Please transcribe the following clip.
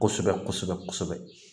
Kosɛbɛ kosɛbɛ kosɛbɛ